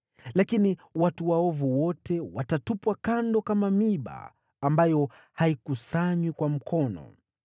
Lakini watu waovu wote watatupwa kando kama miiba, ambayo haikusanywi kwa mkono.